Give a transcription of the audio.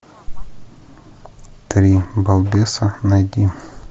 три балбеса найди